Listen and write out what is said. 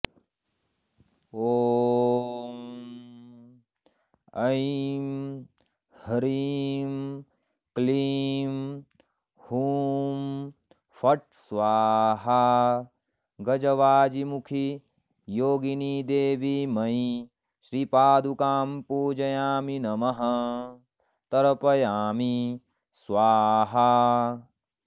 ॐ ऐं ह्रीं क्लीं हूं फट् स्वाहा गजवाजिमुखी योगिनिदेवीमयी श्रीपादुकां पूजयामि नमः तर्पयामि स्वाहा